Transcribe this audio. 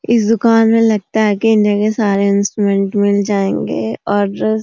इस दुकान में लगता है कि इंडिया के सारे इंस्ट्रूमेंट मिल जाएंगे और --